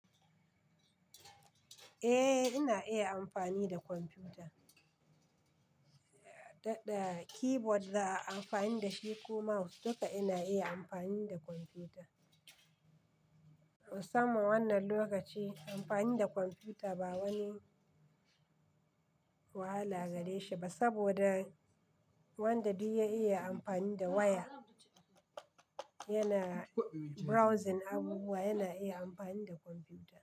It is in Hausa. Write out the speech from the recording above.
Eh ina iya amfani da kwamfuta. Da keyboard da a amfani da shi ko mouse duka ina iya amfani da kwamfuta. Musamma wannan lokaci amfani da kwamfuta ba wani wahala gare shi ba saboda wanda duk ya iya amfani da waya yana browsing abubuwa yana iya amfani da kwamfuta.